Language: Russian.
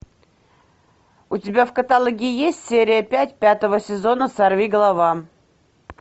у тебя в каталоге есть серия пять пятого сезона сорви голова